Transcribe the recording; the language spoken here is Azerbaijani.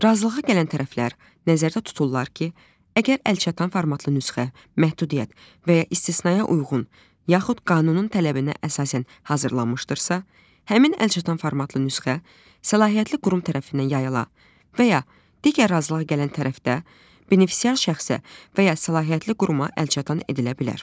Razılığa gələn tərəflər nəzərdə tuturlar ki, əgər əlçatan formatlı nüsxə, məhdudiyyət və ya istisnaya uyğun, yaxud qanunun tələbinə əsasən hazırlanmışdırsa, həmin əlçatan formatlı nüsxə səlahiyyətli qurum tərəfindən yazıla və ya digər razılığa gələn tərəfdə benefisiar şəxsə və ya səlahiyyətli quruma əlçatan edilə bilər.